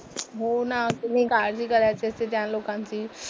हो ना, तुम्ही काळजी करायची असते त्या लोकांची.